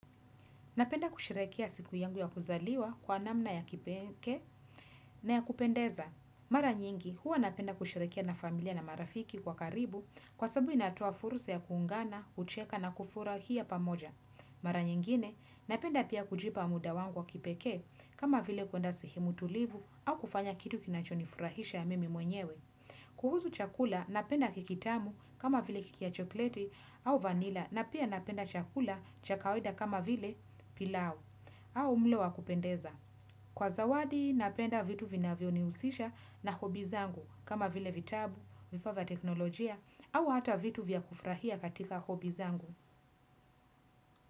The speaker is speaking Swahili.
Napenda kusherehekea siku yangu ya kuzaliwa kwa namna ya kipekee na ya kupendeza. Mara nyingi huwa napenda kusherehekea na familia na marafiki wa karibu kwa sababu inatoa fursa ya kuungana, kucheka na kufurahia pamoja. Mara nyingine napenda pia kujipa muda wangu wa kipekee kama vile kwenda sehemu tulivu au kufanya kitu kinachonifurahisha mimi mwenyewe. Kuhusu chakula napenda keki tamu kama vile keki ya chokolete au vanila na pia napenda chakula cha kawaida kama vile pilau au mlo wa kupendeza. Kwa zawadi napenda vitu vina vyonihusisha na hobi zangu kama vile vitabu, vifaa vya teknolojia au hata vitu vya kufurahia katika hobi zangu.